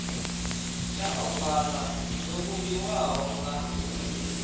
tsha ovala dzo vhumbiwaho nga